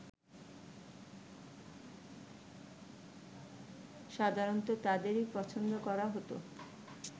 সাধারণত তাদেরই পছন্দ করা হতো